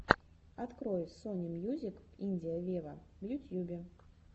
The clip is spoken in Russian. открой сони мьюзик индия вево в ютьюбе